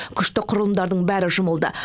күштік құрылымдардың бәрі жұмылды